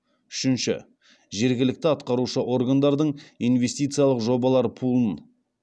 үшінші жергілікті атқарушы органдардың инвестициялық жобалар пулын